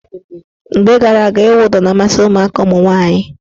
Mgbe gara aga, ịwụ ụdọ na-amasị ụmụaka ụmụnwaanyị.